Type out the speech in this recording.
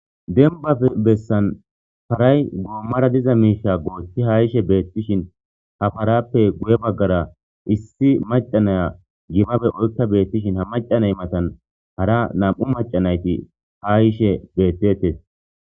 Denbafe bessan paray goommara diza miisha goothti hayishe beettishin ha parappe guye baggara issi macanaya gibabe oykka beettishin ha macanay matan hara nam,u macanayti ha yishe beettetes.